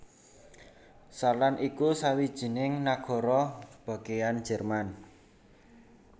Saarland iku sawijining nagara bagéyan Jerman